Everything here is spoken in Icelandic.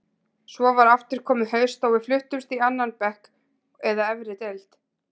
Svo var aftur komið haust og við fluttumst í annan bekk eða efri deild.